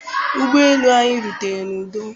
Ụgbọ elu anyị rutere n'udo.